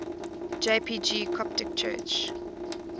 jpg coptic church